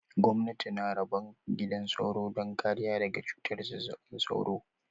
Gwamnati tana rabon gidan sauro don kariya daga cutar zazzaɓin cizon sauro